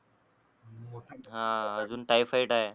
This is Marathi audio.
हा अजून टायफाईड आहे